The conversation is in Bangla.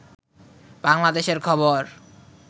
বাংলাদেশের খবর